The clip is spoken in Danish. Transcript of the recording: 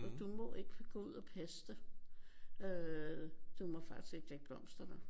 for du må ikke gå ud og passe det. Øh du må faktisk ikke lægge blomster der